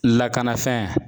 Lakanafɛn